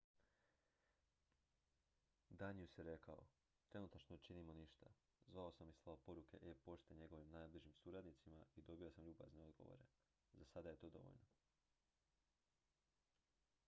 "danius je rekao: "trenutačno ne činimo ništa. zvao sam i slao poruke e-pošte njegovim najbližim suradnicima i dobio sam ljubazne odgovore. za sada je to dovoljno.""